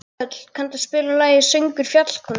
Þöll, kanntu að spila lagið „Söngur fjallkonunnar“?